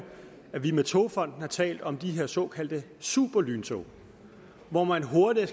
at vi med togfonden dk har talt om de her såkaldte superlyntog hvor man hurtigere